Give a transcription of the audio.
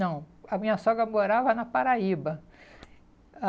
Não, a minha sogra morava na Paraíba.